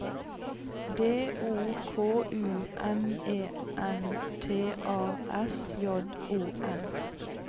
D O K U M E N T A S J O N